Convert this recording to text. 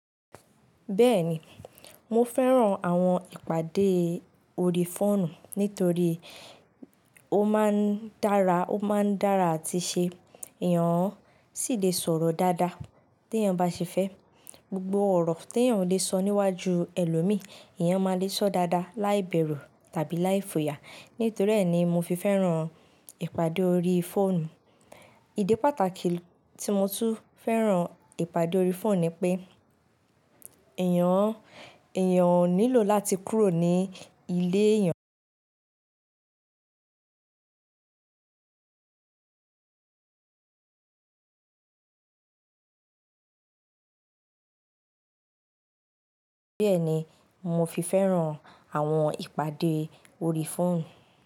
Bẹ́ẹ̀ni, mo fẹ́ràn àwọn ìpàdé ori fóònù nítorí ó máa ń dára, ó máa ń dára àti ṣe, èèyàn sì lè sọ̀rọ̀ dáadáa tí èèyàn bá ṣe fẹ́. Gbogbo ọ̀rọ̀ tí èèyàn ò lè sọ níwájú ẹlòmíì, èèyàn máa lè sọ dáadáa láìbẹ̀rù tàbí láìfo ya. Nítorí èèni mo fi fẹ́ràn ìpàdé ori fóònù. Ìdí pàtàkì tí mo tún fẹ́ràn ìpàdé ori fóònù ni pé, èèyàn, èèyàn ò nílò láti kúrò ní ilé èèyàn. Bẹ́ẹ̀ni, mo fi fẹ́ràn àwọn ìpàdé ori fóònù.